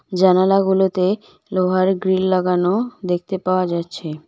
জানালাগুলোতে লোহার গ্রিল লাগানো দেখতে পাওয়া যাচ্ছে।